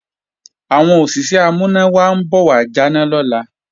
Àwọn NEPA ń bọ̀ wà jáná lọ́la